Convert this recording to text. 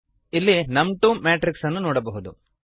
ಇಲ್ಲಿ ನಮ್2 ಮ್ಯಾಟ್ರಿಕ್ಸ್ ಅನ್ನು ನೋಡಬಹುದು